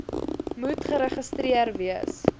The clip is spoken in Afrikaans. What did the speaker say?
moet geregistreer wees